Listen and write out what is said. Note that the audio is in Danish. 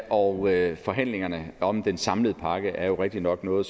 og forhandlingerne om den samlede pakke er jo rigtignok noget